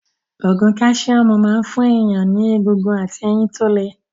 Ògùn káṣíọ́mù máa ń fún èèyàn ní egungun àti eyin tó le